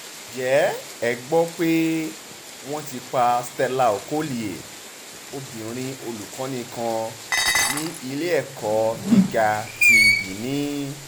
ǹjẹ́ ẹ gbọ́ pé wọ́n ti pa stella okolie obìnrin olùkọ́ni kan ní ilé-ẹ̀kọ́ gíga ti binni